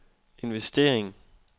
investering